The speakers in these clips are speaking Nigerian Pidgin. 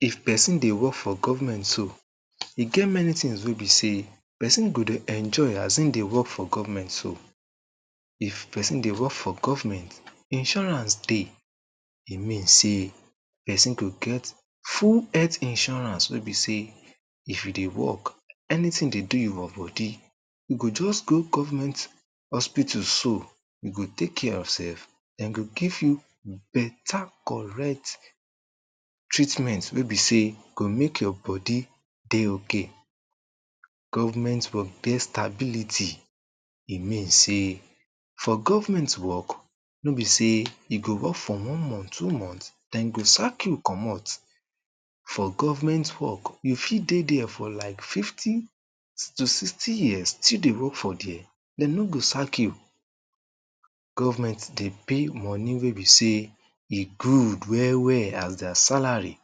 if pesin dey work for govment so e get meni tin wey be sey pesin go dey enjoy as e dey work for govment so if pesin dey work for govment insurance dey e mean sey pesin go get full head insurance wey be sey if yu dey work enitin dey do yu for bodi yu go just go govment hospital so dem go take kare yourself dem go give yu beta korrect treatment wey be sey e go make yur dey ok govment for best ability e mean sey for govment work no be sey e go work for one month two month dem go sak yu kommot for govment work yu fit dey dere for like fifty s to sixty years still dey work for dere dem no go sak yu govment dey pay moni wey be sey e good well well as their salari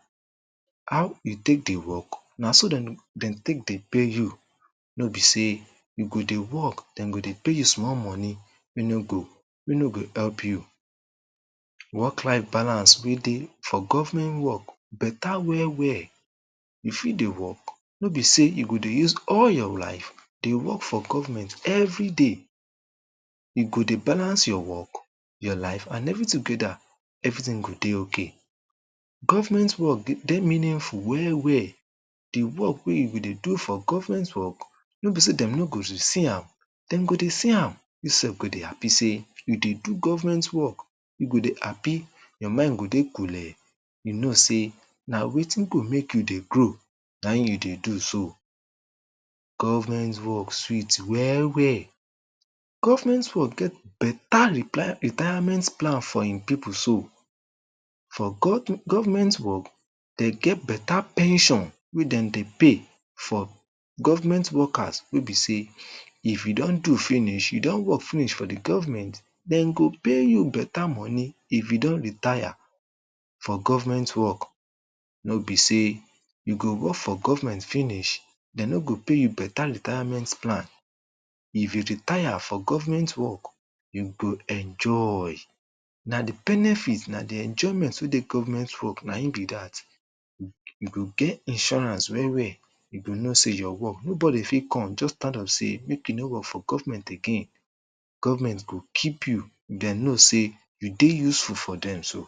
haw yu take dey work na so dem d dem take dey pay yu no be say yu go dey work dem go dey pay yu small moni wey no go wey no go help yu work life balance wey dey for govment work beta well well yu fit dey work no be sey yu go dey use all your life dey work for govement evriday yu go dey balance your work your life and evri togeda evritin go dey ok pesin dey work for govment so govment work de dey meaningful well well the work wey yu go dey do for govment work no be sey dem no go dey see am dem go dey see am yu sef go dey hapi sey yu dey do govment work yu go dey hapi yur mind go dey kule yu no sey na wetin go make yu dey grow na en yu dey do so govment work sweet well well govment work get beta reply retirement plan him pipol so for gov govment work they get beta pension wey dem dey pay for govment workers wey be sey if yu don do finish yu don work finish for the govment dem go pay yu beta moni if yu don retire for govment work no be sey yu go work for govment finish dem no go pay yu beta retirement plan if yu retire for govment work yu go enjoy na di benefit na di enjoyment wey dey govment work na en bi dat u yu go get insurance well well yu go no sey yor work nobodi fit come just start am sey make yu dey work for govement again govment go keep yu dem no sey yu dey useful for dem so